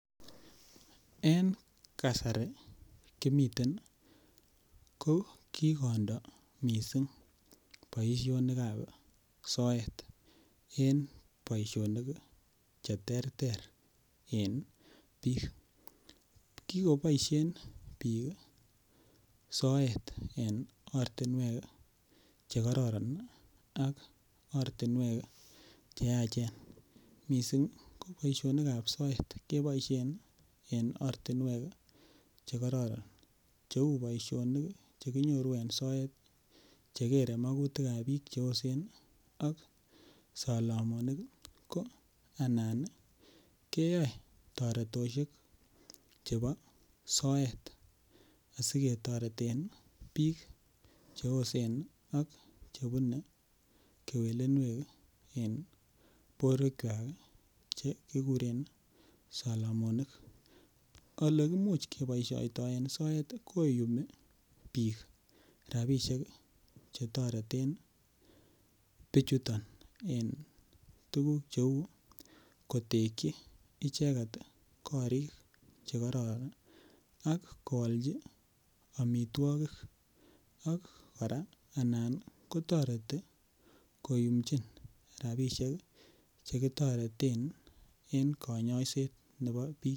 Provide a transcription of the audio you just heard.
En kasari kimiten ko kikondo missing boisionikab soet en boisionik che terter en biik, kikoboishen biik soet en ortiniwek che kororon ak ortinwek che yachen missing boisionikab soet koboishen missing en ortinwek che kororon che ui boisionik che gere mogutikab biik che yosen ak solomonik ko ana koyoe toretoshek chebo soet asi ketoreten biik che yosen ak chebune kewelniwek en borwekwak che kiguren solomonik, ole kimuche keboishoi toen soet ii koyumi biik rabishek Che toreten bichuton en tuguk che uu kotekyi icheget ii korik che kororon ak koalji omitwokik ak koraa anan kotoreti koyumchin rabishek Che kitoreten en konyoiset nebo biik